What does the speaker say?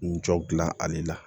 N jɔ gilan ale la